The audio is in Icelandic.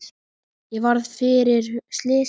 Ég varð fyrir slysi